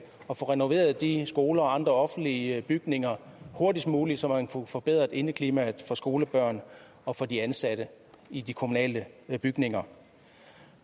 og få renoveret de skoler og andre offentlige bygninger hurtigst muligt så man kunne få forbedret indeklimaet for skolebørnene og for de ansatte i de kommunale bygninger